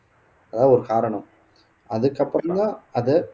அதான் ஒரு காரணம் அதுக்கப்புறம்தான் அது